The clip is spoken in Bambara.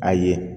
A ye